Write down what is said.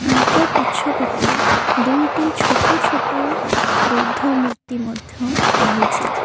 ଆଙ୍କ ପଛ ପଟେ ଦୁଇଟି ଛୋଟ ଛୋଟ ବୌଦ୍ଧ ମୂର୍ତ୍ତି ମଧ୍ୟ ରହିଛି।